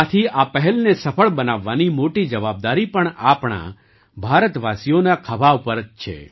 આથી આ પહેલને સફળ બનાવવાની મોટી જવાબદારી પણ આપણા ભારતવાસીઓના ખભા પર જ છે